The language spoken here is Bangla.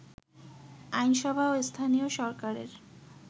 আইনসভা ও স্থানীয় সরকারের